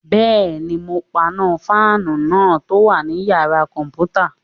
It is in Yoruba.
Bẹ́ẹ̀ni, mo paná fáànù náà tó wà ní yàrá-kọ̀mpútà